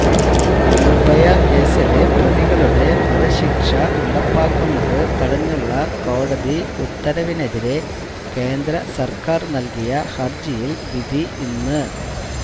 നിർഭയ കേസിലെ പ്രതികളുടെ വധശിക്ഷ നടപ്പാക്കുന്നതു തടഞ്ഞുള്ള കോടതി ഉത്തരവിനെതിരെ കേന്ദ്രസർക്കാർ നൽകിയ ഹര്ജിയില് വിധി ഇന്ന്